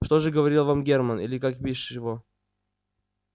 что же говорил вам германн или как бишь его